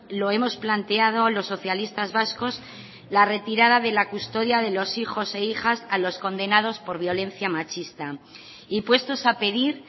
lo hemos planteado los socialistas vascos la retirada de la custodia de los hijos e hijas a los condenados por violencia machista y puestos a pedir